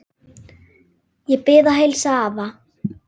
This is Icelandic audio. Ég bið að heilsa afa.